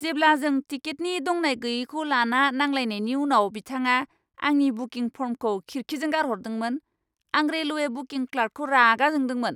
जेब्ला जों टिकेटनि दंनाय गैयैखौ लाना नांलायनायनि उनाव बिथाङा आंनि बुकिं फर्मखौ खिरखिजों गारहरदोंमोन, आं रेलवे बुकिं क्लार्कखौ रागा जोंदोंमोन ।